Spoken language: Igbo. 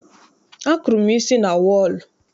Akụrụ m isi na wọọlụ.